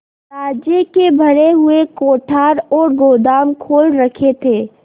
राज्य के भरे हुए कोठार और गोदाम खोल रखे थे